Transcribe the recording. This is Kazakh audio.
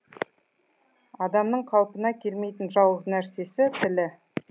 адамның қалпына келмейтін жалғыз нәрсесі тілі